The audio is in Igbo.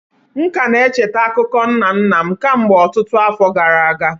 M ka na-echeta akụkọ nna nna m kemgbe ọtụtụ afọ gara aga.